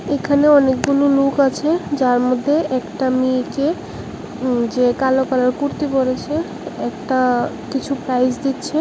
এখানে অনেকগুলো লোক আছে যার মধ্যে একটা মেয়েকে যে কালো কালার কুর্তি পড়েছে একটা কিছু প্রাইজ দিচ্ছে।